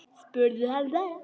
Spurðu hann bara.